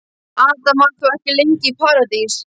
Adam var þó ekki lengi í paradís.